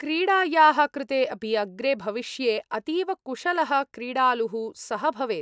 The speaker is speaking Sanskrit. क्रीडायाः कृते अपि अग्रे भविष्ये अतीव कुशलः क्रीडालुः सः भवेत्।